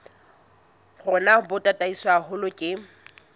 rona bo tataiswe haholo ke